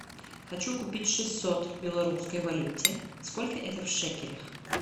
хочу купить шестьсот в белорусской валюте сколько это в шекелях